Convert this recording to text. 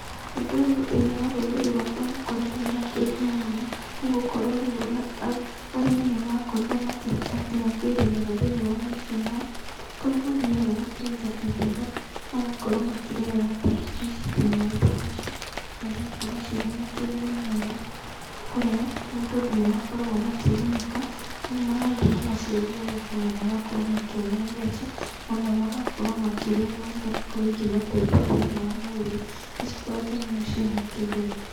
Ũndũ ũyũ thĩinĩ wa rũrĩrĩ rwaka nĩ ũkoretwo wĩna kĩguni mũno nĩgũkorwo rĩu arĩmi nĩ makorĩrwo makĩhota nginya kwĩrĩmĩra thĩinĩ wa mĩciĩ yao kũrĩa mathiaga makenja ithima magakorwo makĩrerera thamaki thĩinĩ wa ithima icio na cigakorwo cirĩ na kĩguni mũno kũrĩ o tondũ nĩ makoragwo makĩgunĩka magathiĩ magaciendia thoko na magakorwo makĩona mbeca ona magakorwo makĩrĩa imwe igakorwo ikĩmateithia thĩinĩ wa mwĩrĩ nĩ cikoretwo mũno ciĩna kĩguni.